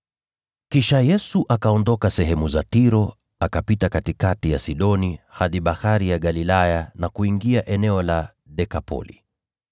Kisha Yesu akaondoka sehemu za Tiro, akapita katikati ya Sidoni, hadi Bahari ya Galilaya na kuingia eneo la Dekapoli.